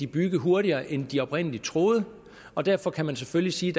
bygge hurtigere end de oprindelig troede og derfor kan man selvfølgelig sige